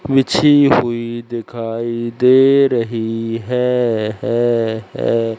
बिछी हुई दिखाई दे रही है।